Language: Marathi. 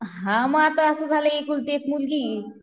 हा म आता असं झालं एकुलती एक मुलगी